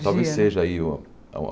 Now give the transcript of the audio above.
Talvez seja aí uma uma